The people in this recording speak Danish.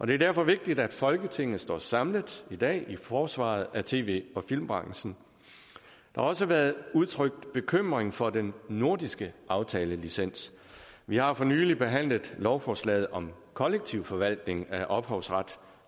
det er derfor vigtigt at folketinget står samlet i dag i forsvaret af tv og filmbranchen der har også været udtrykt bekymring for den nordiske aftalelicens vi har for nylig behandlet lovforslaget om kollektiv forvaltning af ophavsret